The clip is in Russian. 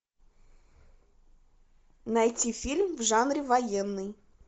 найти фильм в жанре военный